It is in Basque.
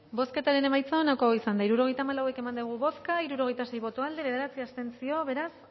bozketaren emaitza onako izan da hirurogeita hamabost eman dugu bozka hirurogeita sei boto aldekoa bederatzi abstentzio beraz